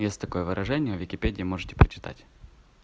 есть такое выражение в википедии можете почитать